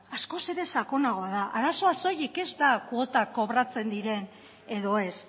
askoz ere sakonagoa da arazoa soilik ez da kuotak kobratzen diren edo ez